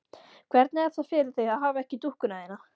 Hvernig er það fyrir þig að hafa ekki dúkkuna þína?